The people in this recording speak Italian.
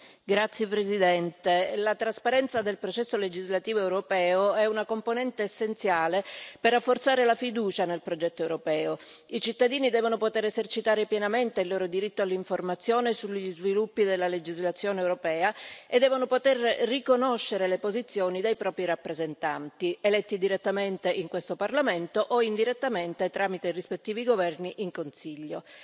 Signor Presidente, onorevoli colleghi, la trasparenza del processo legislativo europeo è una componente essenziale per rafforzare la fiducia nel progetto europeo. I cittadini devono poter esercitare pienamente il loro diritto all'informazione sugli sviluppi della legislazione europea e devono poter riconoscere le posizioni dei propri rappresentanti, eletti direttamente in questo Parlamento o indirettamente tramite i rispettivi governi, in Consiglio.